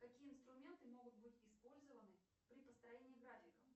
какие инструменты могут быть использованы при построении графиков